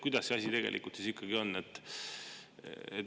Kuidas see asi tegelikult on?